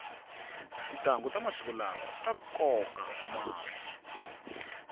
tintanghu ta masiku lawa ta koka mahlo